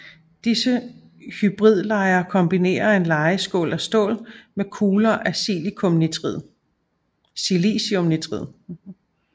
Disse hybridlejer kombinerer en lejeskål af stål med kugler af silicium nitrid